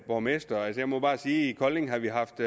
borgmestre jeg må bare sige at i kolding har vi haft